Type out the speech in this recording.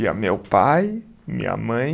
Ia meu pai, minha mãe,